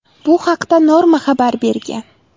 Bu haqda Norma xabar bergan .